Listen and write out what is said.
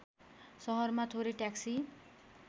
सहरमा थोरै ट्याक्सी